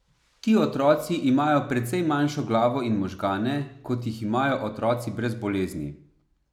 Ti otroci imajo precej manjšo glavo in možgane, kot jih imajo otroci brez bolezni.